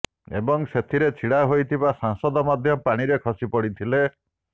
ଏବଂ ସେଥିରେ ଛିଡ଼ା ହୋଇଥିବା ସାଂସଦ ମଧ୍ୟ ପାଣିରେ ଖସିପଡ଼ିଥିଲେ